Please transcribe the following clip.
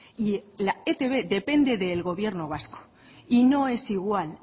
y la etb depende del gobierno vasco y no es igual